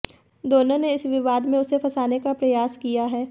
दोनों ने इस विवाद में उसे फंसाने का प्रयास किया है